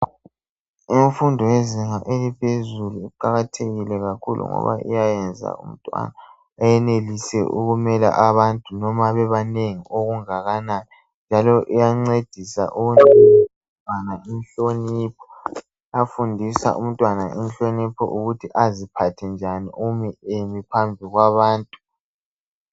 Imfundo yezinga eliphezulu iqakathekile kakhulu ngoba iyayenza umuntu ayenelise ukumela abantu noma bebanengi okungakanani njalo iyancedisa ukubanga inhlonipho iyafundisa umntwana inhlonipho ukuthi aziphathe njani umi emiphambi kwabantu